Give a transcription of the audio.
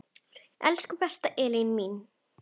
Elsku besta Elín mín.